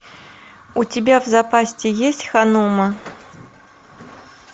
у тебя в запасе есть ханума